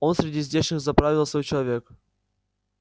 он среди здешних заправил свой человек